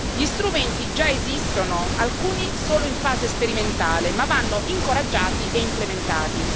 Gli strumenti già esistono, alcuni solo in fase sperimentale, ma vanno incoraggiati e implementati.